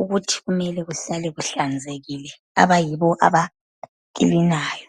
ukuthi kumele kuhlale kuhlanzekile abayibo abaklinayo.